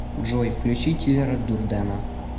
джой включи тилера дурдена